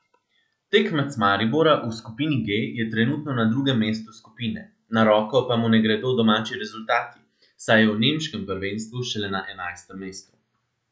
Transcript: Tekmec Maribora v skupini G je trenutno na drugem mestu skupine, na roko pa mu ne gredo domači rezultati, saj je v nemškem prvenstvu šele na enajstem mestu.